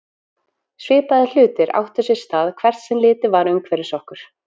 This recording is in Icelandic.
Svipaðir hlutir áttu sér stað hvert sem litið var umhverfis okkur.